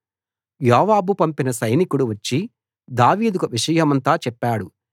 యోవాబు పంపిన సైనికుడు వచ్చి దావీదుకు విషయమంతా చెప్పాడు